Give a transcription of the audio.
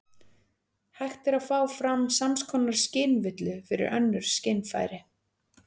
Hægt er að fá fram sams konar skynvillu fyrir önnur skynfæri.